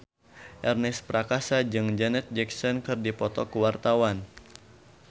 Ernest Prakasa jeung Janet Jackson keur dipoto ku wartawan